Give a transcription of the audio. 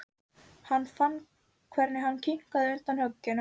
Hann fann hvernig hinn kiknaði undan högginu.